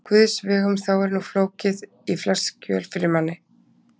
Guðs vegum þá er nú fokið í flest skjól fyrir manni!